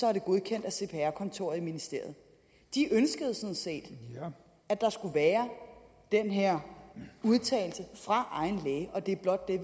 er det godkendt af cpr kontoret i ministeriet de ønskede sådan set at der skulle være den her udtalelse fra egen læge og det er blot det